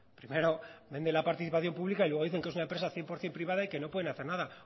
primero vende la participación pública y luego dicen que es una empresa cien por ciento privada y que no pueden hacer nada